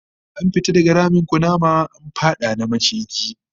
An fita daga ramin kunama, an fada na maciji